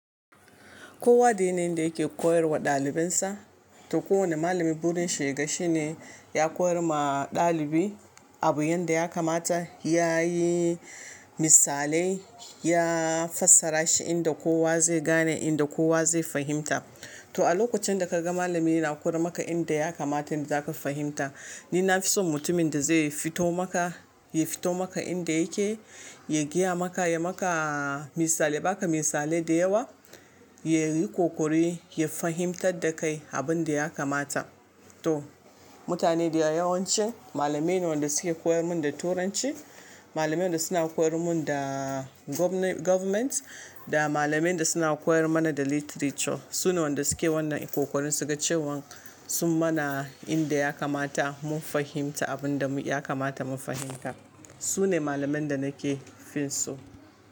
Kowa da yanayin da yake koyar wa ɗalibinsa. To kowane malami burin shi ya ga shi ne ya koyar ma ɗalibi abu yanda ya kamata, yayi misalai, ya fassara shi inda kowa zai gane, inda kowa zai fahimta. To a lokacin da kaga malami yana koyar maka inda ya kamata, inda zaka fahimta. Ni na fi son mutumin da zai fito maka, ya fito maka inda yake, ya gaya maka, ya maka misali, ya baka misalai da yawa, ya yi ƙoƙari ya fahimtar da kai abin da ya kamata. To mutane da yawa yawanci malamai ne wanda suke koyar mun da turanci, malamai wanda suna koyar mun da government da malamai da suna koyar mana da literature. Su ne wanda suke wannan ƙoƙarin su ga cewan sun mana inda ya kamata mun fahimta abin da mu ya kamata mu fahimta. Su ne malaman da nake fin so.